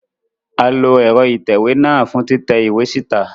A lo ẹrọ itẹwe náà fun titẹ iwe sita